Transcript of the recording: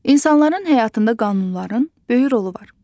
İnsanların həyatında qanunların böyük rolu var.